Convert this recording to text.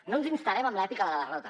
no ens instal·lem en l’èpica de la derrota